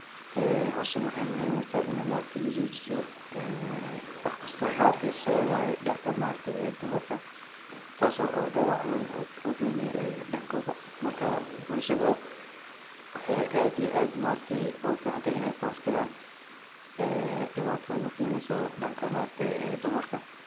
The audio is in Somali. Ee howshan waxay muhiim utahay inay ma aragte lajoojiyo ee wax kisto ma aragte sababayo dhanka ma aragte dumarka taaso dhabac weyn ugeyni dhankooda marka bulshada waxay aad iyo aad ogu ficantahay inay kahor tagaan ee dhibatada no keneyso dhankan ma aragte dumarkan